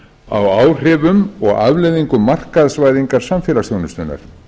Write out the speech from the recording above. á áhrifum og afleiðingum markaðsvæðingar samfélagsþjónustunnar